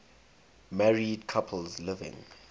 married couples living